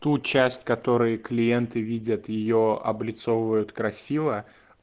ту часть которая клиенты видят её облицовывают красиво